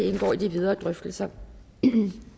indgår i de videre drøftelser